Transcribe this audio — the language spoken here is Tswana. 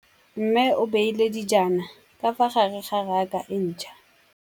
Mmê o beile dijana ka fa gare ga raka e ntšha.